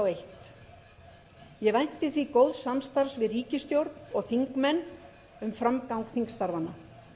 vænti því góðs samstarfs við ríkisstjórn og þingmenn um framgang þingstarfanna